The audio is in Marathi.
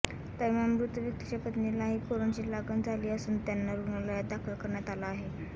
दरम्यान मृत व्यक्तीच्या पत्नीलाही करोनाची लागण झाली असून त्यांना रुग्णालयात दाखल करण्यात आलं आहे